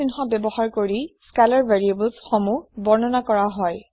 চিহ্ন ব্যৱহাৰ কৰি স্কেলাৰ ভেৰিয়েবলছ সমূহ বৰ্ণনা কৰা হয়